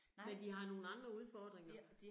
Men de har nogle andre udfordringer